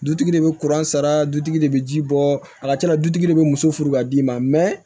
Dutigi de bɛ kuran sara dutigi de bɛ ji bɔ a ka can la dutigi de bɛ muso furu k'a d'i ma mɛ